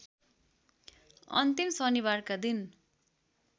अन्तिम शनिबारका दिन